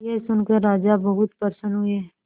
यह सुनकर राजा बहुत प्रसन्न हुए